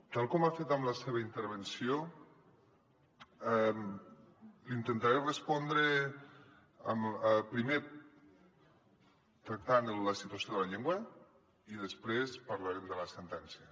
tal com ha fet en la seva intervenció li intentaré respondre primer tractant la situació de la llengua i després parlarem de la sentència